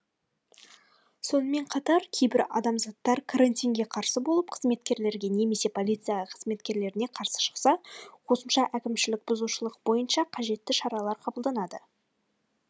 сонымен қатар кейбір адамзаттар карантинге қарсы болып қызметкерлерге немесе полиция қызметкерлеріне қарсы шықса қосымша әкімшілік бұзушылық бойынша қажетті шаралар қабылданады